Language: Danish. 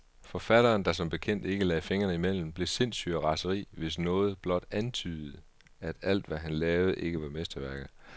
Forfatteren, der som bekendt ikke lagde fingrene imellem, blev sindssyg af raseri, hvis nogen blot antydede, at alt, hvad han lavede, ikke var mesterværker.